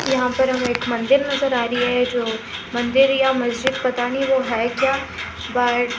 यहां पे हम एक मंदिर नजर आ रही है जो मंदिर या मस्जिद पता नहीं वो है क्या